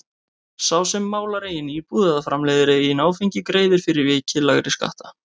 Sá sem málar eigin íbúð eða framleiðir eigið áfengi greiðir fyrir vikið lægri skatta.